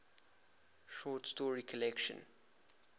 short story collection